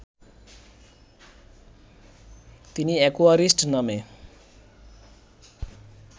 তিনি অ্যাকোয়ারিস্ট নামে